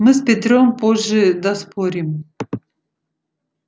мы с петром позже доспорим